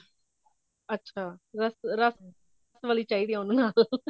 ਅੱਛਾ ਰਸ ਰਸ ਰਸਮਲਾਈ ਚਾਹੀਦੀ ਹੈ ਉਹਨੂੰ ਨਾਲ